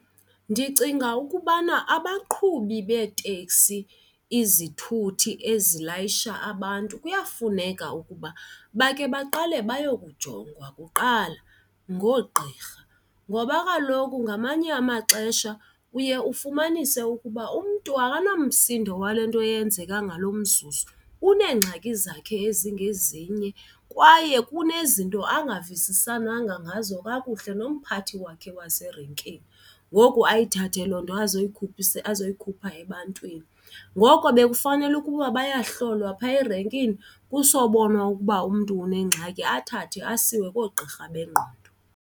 Ndicinga ukubana abaqhubi beeteksi, izithuthi ezilayisha abantu, kuyafuneka ukuba bakhe baqale bayo kujongwa kuqala ngoogqirha ngoba kaloku ngamanye amaxesha uye ufumanise ukuba umntu akanamsindo wale nto yenzeka ngalo mzuzu, uneengxaki zakhe ezingezinye kwaye kunezinto angavisisananga ngazo kakuhle nomphathi wakhe wayeserenkini ngoku ayithathe loo nto azoyikhuphisa azoyikhupha ebantwini. Ngoko bekufanele ukuba bayahlolwa phaa erenkini, kusobonwa ukuba umntu unengxaki athathwe asiwe koogqirha bengqondo.